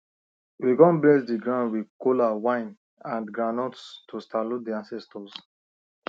we come bless the ground with kola wine and groundnuts to salute the ancestors